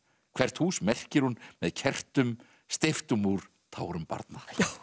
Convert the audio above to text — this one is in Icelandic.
hvert hús merkir hún með kertum steyptum úr tárum barna